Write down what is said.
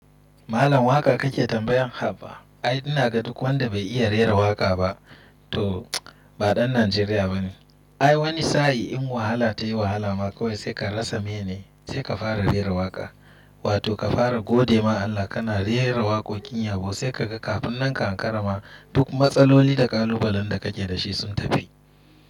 Malam waƙa kake tambayan haba? Ai inaga duk wanda bai iya rera waƙa ba to ba ɗan Najeriya bane. Ai wani sa'i in wahala ta yi wahala ma kawai sai ka rasa meye ne sai ka fara rera waƙa wato ka fara gode ma Allah kana rera waƙoƙin yabo sai kaga kafin nan ka ankara ma duk matsaloli da kalubalen da kake dashi sun tafi.